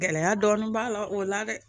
Gɛlɛya dɔɔnin b'a la o la dɛ